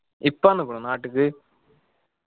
ഇപ്പ വന്നിക്കുണോ നാട്ടിക്ക്